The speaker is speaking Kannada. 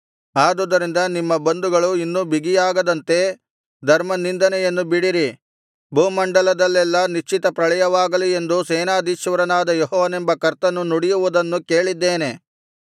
ಆದುದರಿಂದ ನಿಮ್ಮ ಬಂಧನಗಳು ಇನ್ನೂ ಬಿಗಿಯಾಗದಂತೆ ಧರ್ಮನಿಂದೆಯನ್ನು ಬಿಡಿರಿ ಭೂಮಂಡಲದಲ್ಲೆಲ್ಲಾ ನಿಶ್ಚಿತಪ್ರಳಯವಾಗಲಿ ಎಂದು ಸೇನಾಧೀಶ್ವರನಾದ ಯೆಹೋವನೆಂಬ ಕರ್ತನು ನುಡಿಯುವುದನ್ನು ಕೇಳಿದ್ದೇನೆ